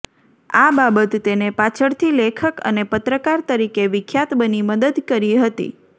આ બાબત તેને પાછળથી લેખક અને પત્રકાર તરીકે વિખ્યાત બની મદદ કરી હતી